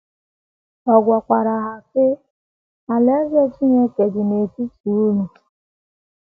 Ọ gwakwara ha, sị: ““ Alaeze Chineke dị n’etiti unu. ”